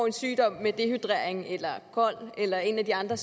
en sygdom med dehydrering eller kol eller en af de andre